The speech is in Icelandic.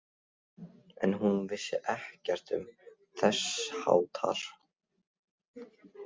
En hún vissi ekkert um þess háttar.